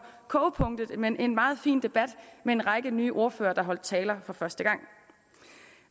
kogepunktet men en meget fin debat med en række nye ordførere der holdt taler for første gang